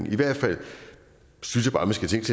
i hvert fald